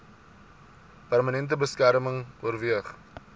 permanente beskerming oorweeg